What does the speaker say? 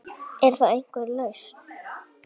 Er þá einhver lausn